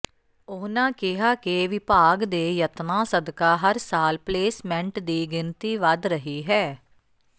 ਉਨ੍ਹਾਂ ਕਿਹਾ ਕਿ ਵਿਭਾਗ ਦੇ ਯਤਨਾਂ ਸਦਕਾ ਹਰ ਸਾਲ ਪਲੇਸਮੈਂਟ ਦੀ ਗਿਣਤੀ ਵਧ ਰਹੀ ਹੈ